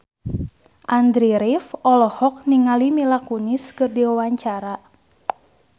Andy rif olohok ningali Mila Kunis keur diwawancara